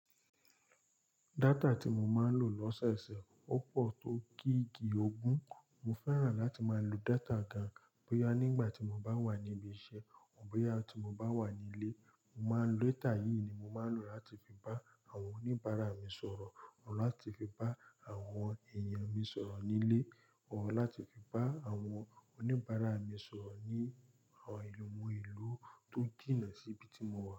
Data tí mo máa ń lò lọ́sẹ̀ẹ̀sẹ̀ ó pọ̀ tó gígì ogún. Mo fẹ́ràn láti máa lo data gan-an, bóyá nígbà tí mo bá wà ní ibi iṣẹ́, bóyá tí mo bá wà nílé. Mo máa ń lo datà yìí ni mo máa ń lò láti fi bá àwọn oníbàárà mi sọ̀rọ̀, ọ láti fi bá àwọn èèyàn mi sọ̀rọ̀ nílé, ọ láti fi bá àwọn oníbàárà mi sọ̀rọ̀ ní àwọn ìlú tó jìnà síbi tí mo wà.